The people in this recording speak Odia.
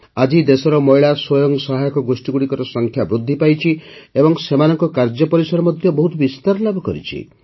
ଆଜି ଦେଶରେ ମହିଳା ସ୍ୱୟଂ ସହାୟକ ଗୋଷ୍ଠୀଗୁଡ଼ିକର ସଂଖ୍ୟା ବୃଦ୍ଧି ପାଇଛି ଏବଂ ସେମାନଙ୍କ କାର୍ଯ୍ୟ ପରିସର ମଧ୍ୟ ବହୁତ ବିସ୍ତାର ଲାଭ କରିଛି